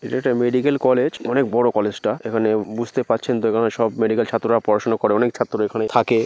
এটা একটা medical college অনেক বড়ো কলেজ -টা। এখানে বুঝতে পারছেন তো এখানে সব মেডিক্যাল ছাত্ররা পড়াশোনা করে অনেক ছাত্র এখানে থাকে।